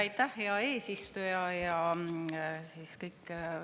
Aitäh, hea eesistuja!